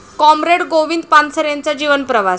comrade Govind पानसरेंचा जीवनप्रवास...